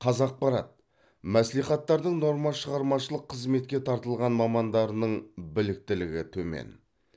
қазақпарат мәслихаттардың нормашығармашылық қызметке тартылған мамандарының біліктілігі төмен